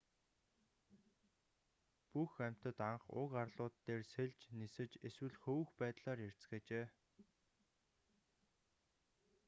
бүх амьтад анх уг арлууд дээр сэлж нисэж эсвэл хөвөх байдлаар ирцгээжээ